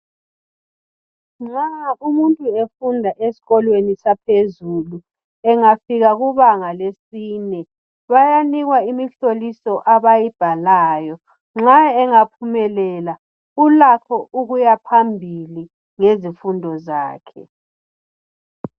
Nxa umuntu efunda esikolweni saphezulu engafika kubanga lesine bayanikwa imihloliso abayibhalayo nxa engaphumelela ulakho ukuya phambili ngezifundo zakhe